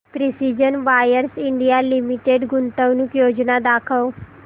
precision wires India limited गुंतवणूक योजना दाखव